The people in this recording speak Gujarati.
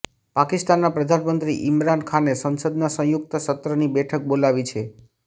પાકિસ્તાનના પ્રધાનમંત્રી ઈમરાન ખાને સંસદના સંયુક્ત સત્રની બેઠક બોલાવી છે